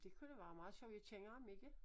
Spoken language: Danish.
Det kunne det være meget sjovt jeg kender ham ikke